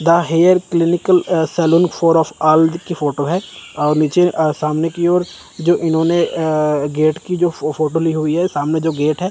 The hair clinical a salon for of all लिख के photo है और नीचे अ सामने की ओर जो इन्होंने अ गेट की जो फो फोटो ली हुई है सामने जो गेट है।